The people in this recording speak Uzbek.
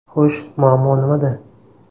Xo‘sh, muammo nimada?